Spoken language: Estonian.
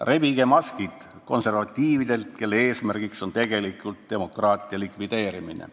Rebige maskid konservatiividelt, kelle eesmärgiks on tegelikult demokraatia likvideerimine.